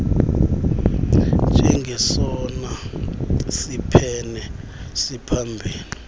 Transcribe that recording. njengesona siphene siphambili